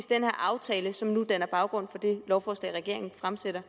den her aftale som nu danner baggrund for det lovforslag regeringen fremsætter